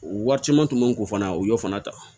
Wari caman tun bɛ n kun fana o y'o fana ta